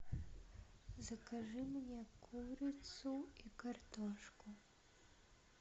закажи мне курицу и картошку